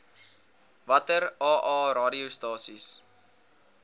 watter aa radiostasies